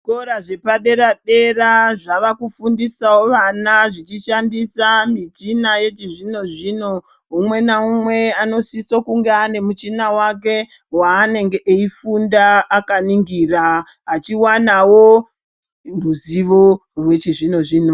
Zvikora zvepadera dera zvavakufundisawo vana zvichishandisa michina yacho yechizvino zvino umwe naumwe anotarisirwa Muchina wake wanenge weifunda Akaningura achiwanawo ruzivo wechizvino zvino.